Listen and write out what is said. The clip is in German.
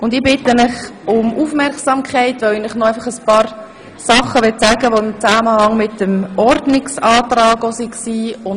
Ich bitte Sie um Aufmerksamkeit, weil ich Ihnen noch ein paar Dinge mitteilen möchte, die mit dem Ordnungsantrag in Zusammenhang stehen.